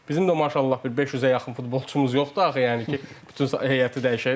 Bizim də maşallah bir 500-ə yaxın futbolçumuz yoxdur axı, yəni ki, bütün heyəti dəyişək.